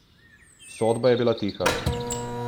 Soba je bila tiha.